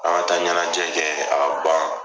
An ka taa ɲanajɛ kɛ a ka ban.